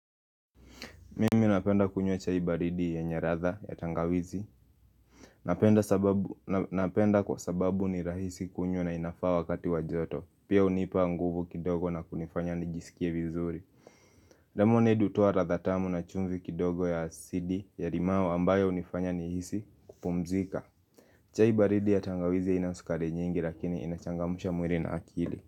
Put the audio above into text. Mimi napenda kunywa chai baridi yenye ladha ya tangawizi Napenda kwa sababu ni rahisi kunywa na inafaa wakati wa joto. Pia hunipa nguvu kidogo na kunifanya nijisikie vizuri. Lemonade hutoa ladha tamu na chumvi kidogo ya asidi ya limau ambayo hunifanya nihisi kupumzika chai baridi ya tangawizi haina sukari nyingi lakini inachangamsha mwili na akili.